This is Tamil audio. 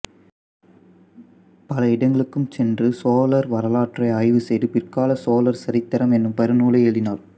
பல இடங்களுக்கும் சென்று சோழர் வரலாற்றை ஆய்வு செய்து பிற்கால சோழர் சரித்தரம் என்னும் பெரு நூலை எழுதினார்